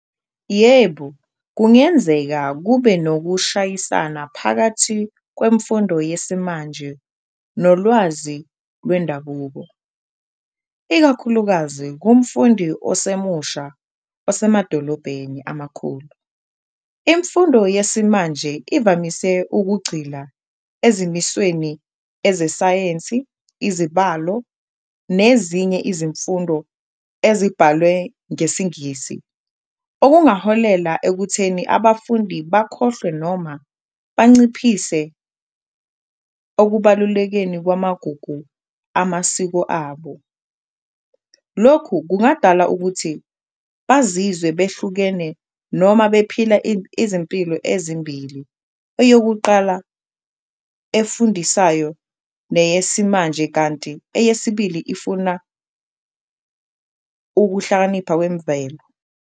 Yebo, kungenzeka kube nokushayisana phakathi kwemfundo yesimanje nolwazi lwendabuko, ikakhulukazi kumfundi osemusha osemadolobheni amakhulu. Imfundo yesimanje ivamise ukugxila ezimisweni ezesayensi, izibalo nezinye izimfundo ezibhalwe ngesiNgisi okungaholela ekutheni abafundi bakhohlwe noma banciphise okubalulekeni kwamagugu amasiko abo. Lokhu kungadala ukuthi bazizwe behlukene noma bephila izimpilo ezimbili, eyokuqala efundisayo neyesimanje kanti eyesibili ifuna ukuhlakanipha kwemvelo.